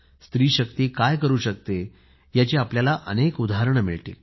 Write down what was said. स्त्री शक्ती जाणीव करून देणारी आपल्याला अनेक उदाहरणे मिळतील